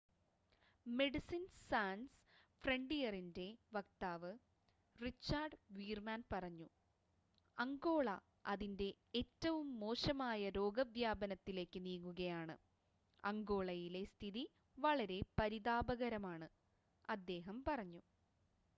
"Medicines Sans ഫ്രണ്ടിയറിന്റെ വക്താവ് Richard Veerman പറഞ്ഞു:അംഗോള അതിന്റെ ഏറ്റവും മോശമായ രോഗവ്യാപനത്തിലേക്ക് നീങ്ങുകയാണ്, അംഗോളയിലെ സ്ഥിതി വളരെ പരിതാപകരമാണ്," അദ്ദേഹം പറഞ്ഞു.